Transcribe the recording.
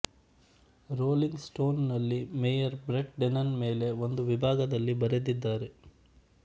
rolling Stone ನಲ್ಲಿ Mayer Brett Dennen ಮೇಲೆ ಒಂದು ವಿಭಾಗ ದಲ್ಲಿ ಬರೆದಿದ್ದಾರೆ